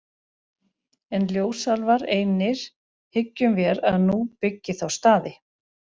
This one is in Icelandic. En ljósálfar einir hyggjum vér að nú byggi þá staði.